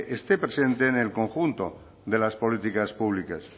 esté presente en el conjunto de las políticas públicas